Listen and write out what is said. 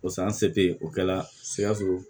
Pasa an se tɛ ye o kɛla sikaso